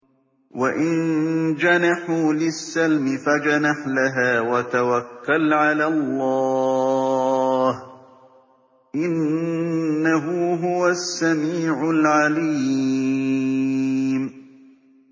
۞ وَإِن جَنَحُوا لِلسَّلْمِ فَاجْنَحْ لَهَا وَتَوَكَّلْ عَلَى اللَّهِ ۚ إِنَّهُ هُوَ السَّمِيعُ الْعَلِيمُ